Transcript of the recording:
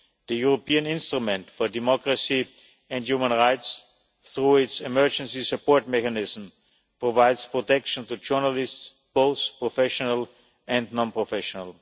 The European Instrument for Democracy and Human Rights, through its emergency support mechanism, provides protection to journalists both professional and non professional.